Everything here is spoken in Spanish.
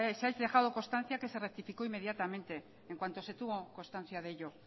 se ha dejado constancia que se rectificó inmediatamente en cuanto se tuvo constancia de ello